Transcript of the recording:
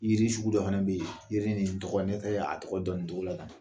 Yiri sugu dɔ fana bɛ yen jiri nin tɔgɔ ne tɛ ye a tɔgɔ dɔn nin cogo la tan